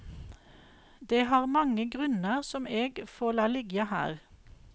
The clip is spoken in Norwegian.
Det har mange grunnar som eg får la liggja her.